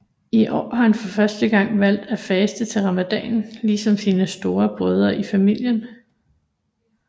I år har han for første gang valgt at faste til ramadanen ligesom sine store brødre i familien